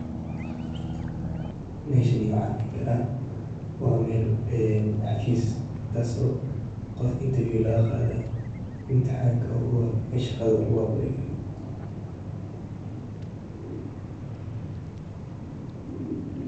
Meshaan waxaan dihii kara waa meel een xafiis taas oo of interview lagaa qadaayo. imtixaanka ogu horeeyo ee shaaqada laguu apply gaareyo.